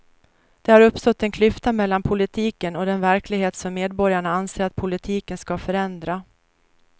Det har uppstått en klyfta mellan politiken och den verklighet som medborgarna anser att politiken ska förändra.